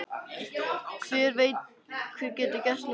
Hver veit hvað getur gerst núna?